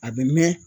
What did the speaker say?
A bɛ mɛn